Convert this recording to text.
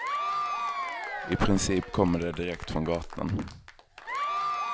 I princip kommer de direkt från gatan.